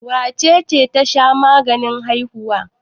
Wace ce ta sha maganin haihuwa?